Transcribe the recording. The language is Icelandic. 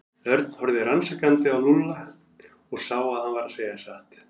Örn horfði rannsakandi á Lúlla og sá að hann var að segja satt.